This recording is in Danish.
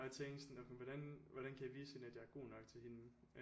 Og jeg tænkte sådan okay men hvordan hvordan kan jeg vise hende at jeg er god nok til hende